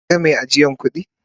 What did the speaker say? Ka gan mai ajiyan kudi?